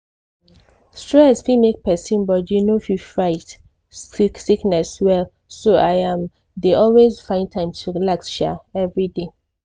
stress fit make person body no fit fight sickness well so i um dey always find time to relax um everyday.